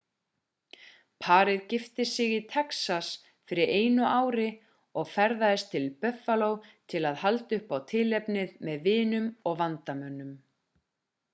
parið gifti sig í texas fyrir einu ári og ferðaðist til buffalo til að halda upp á tilefnið með vinum og vandamönnum